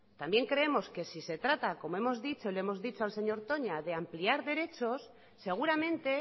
también creemos que si se trata como hemos dicho y le hemos dicho al señor toña de ampliar derechos seguramente